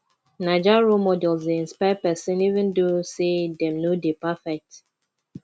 naija role models dey inspire pesin even though say dem no dey perfect